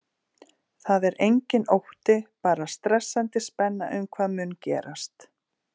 Það er enginn ótti, bara stressandi spenna um hvað mun gerast.